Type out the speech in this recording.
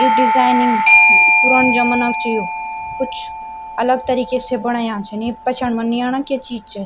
यु designing पुरन जमना क च यो कुछ अलग तरीके से बणाया छीन ये पछयान मा नी आणा क्य चीज च।